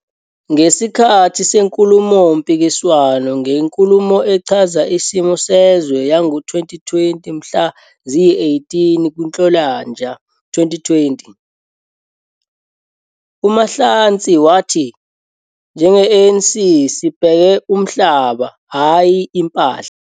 Ngesikhathi senkulumompikiswano ngeNkulumo Echaza Isimo Sezwe yango-2020 mhla ziyi-18 kuNhlolanja 2020, uMahlatsi wathi- "Njenge-ANC, sibheke umhlaba, hhayi impahla...